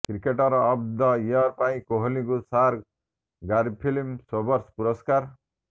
cricketer of the year ପାଇଁ କୋହଲିଙ୍କୁ sir Garfield Sobers ପୁରସ୍କାର